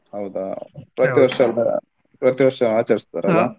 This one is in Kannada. ಹೌದ. ಪ್ರತೀ ವರ್ಷ ಪ್ರತೀ ವರ್ಷ ಆಚರಿಸ್ತಾರಲ್ಲ.